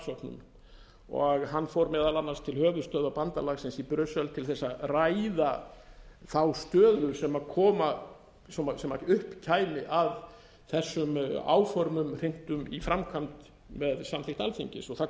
starfshópnum og hann fór meðal annars til höfuðstöðva bandalagsins í brussel til þess að ræða þá stöðu sem upp kæmi að þessum áformum hrintum í framkvæmd með samþykkt alþingis það kom